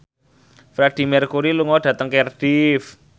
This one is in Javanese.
Freedie Mercury lunga dhateng Cardiff